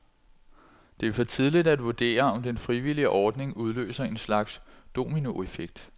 Det er for tidligt at vurdere, om den frivillige ordning udløser en slags dominoeffekt.